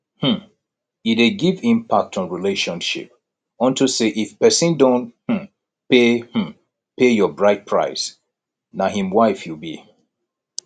um e dey give impact on relationship unto say if pesin don um pay um pay your bride price na im wife you be